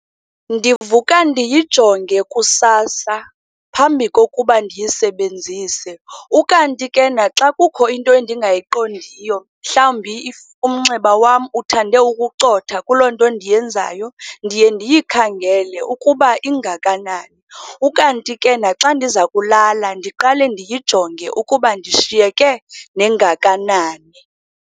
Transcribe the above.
Ndivuka ndijonge kusasa phambi kokuba ndiyisebenzise. Ukanti ke naxa kukho into endingayiqondiyo, mhlambi if umnxeba wam uthande ukucotha kuloo nto ndiyenzayo, ndiye ndiyikhangele ukuba ingakanani. Ukanti ke naxa ndiza kulala, ndiqale ndiyijonge ukuba ndishiyike nengakanani.